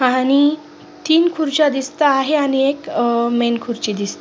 आणि तीन खुर्च्या दिसत आहे आणि एक खुर्ची दिस--